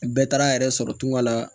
Bɛɛ taara a yɛrɛ sɔrɔ tunga la